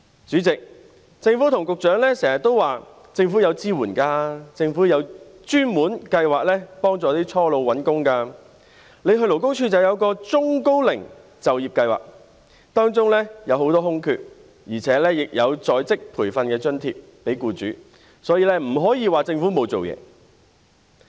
主席，政府和局長經常說，政府有提供支援；政府有專門計劃協助初老長者找工作；勞工處有中高齡就業計劃，當中有很多空缺，而且亦有向僱主提供在職培訓津貼等；因此不能說政府沒有做事。